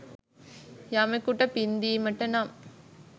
යමකුට පින්දීමට නම්